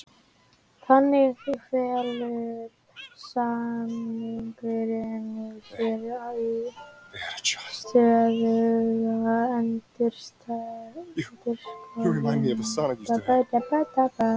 Þannig felur samningurinn í sér stöðuga endurskoðun og uppfærslu á íslenskum lögum.